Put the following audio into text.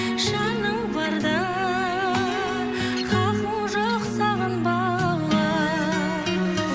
жаның барда хақың жоқ сағынбауға